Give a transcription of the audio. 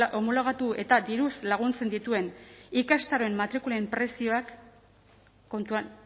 homologatu eta diruz laguntzen dituen ikastaroen matrikulen prezioak kontuan